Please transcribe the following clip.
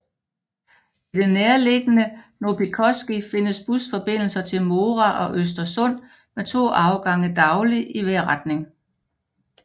I det nærtbeliggende Noppikoski findes busforbindelser til Mora og Östersund med to afgange dagligt i hver retning